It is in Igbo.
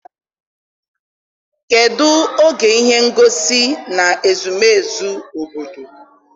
kedụ oge ihe ngosi na square obodo?